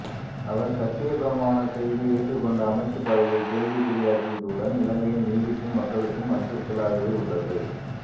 அவர் சத்தியப்பிரமாணம் செய்து ஏற்றுக் கொண்ட அமைச்சுப் பதவியை கேள்விக் குறியாக்கியதுடன் இலங்கையில் நீதிக்கும் மக்களுக்கும் அச்சுறுத்தலாகவே உள்ளது